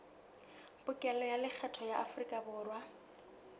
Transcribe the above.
pokello ya lekgetho ya aforikaborwa